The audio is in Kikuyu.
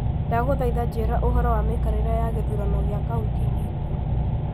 Ndagũthaitha njĩĩra ũhoro wa mĩikarĩre ya gĩthurano gĩa kaunti iitũ.